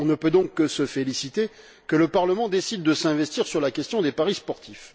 On ne peut donc que se féliciter que le Parlement décide de s'investir sur la question des paris sportifs.